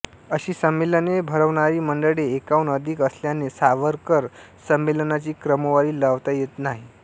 अशी संमेलने भरवणारी मंडळे एकाहून अधिक असल्याने सावरकर संमेलनांची क्रमवारी लावता येत नाही